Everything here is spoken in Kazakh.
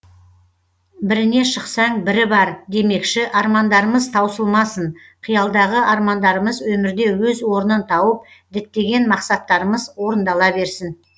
біріне шықсаң бірі бар демекші армандарымыз таусылмасын қиялдағы армандарымыз өмірде өз орнын тауып діттеген мақсаттарымыз орындала берсін